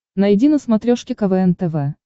найди на смотрешке квн тв